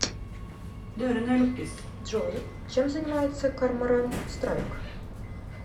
джой чем занимается корморан страйк